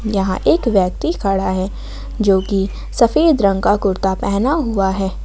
यहां एक व्यक्ति खड़ा है जो की सफेद रंग का कुर्ता पहना हुआ है।